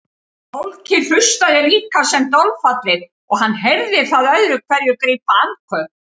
Fólkið hlustaði líka sem dolfallið og hann heyrði það öðru hverju grípa andköf.